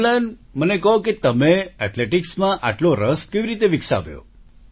અમ્લાન મને કહો કે તમે એથલેટિક્સ માં આટલો રસ કેવી રીતે વિકસાવ્યો